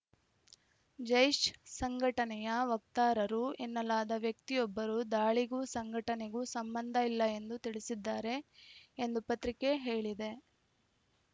ಜೈಷ್‌ ಸಂಘಟನೆಯ ವಕ್ತಾರರು ಎನ್ನಲಾದ ವ್ಯಕ್ತಿಯೊಬ್ಬರು ದಾಳಿಗೂ ಸಂಘಟನೆಗೂ ಸಂಬಂಧ ಇಲ್ಲ ಎಂದು ತಿಳಿಸಿದ್ದಾರೆ ಎಂದು ಪತ್ರಿಕೆ ಹೇಳಿದೆ